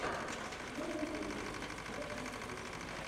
первый выпуск все интересно